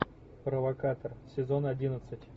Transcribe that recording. провокатор сезон одиннадцать